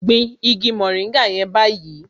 Gbin igi mòríngà yẹn báyìí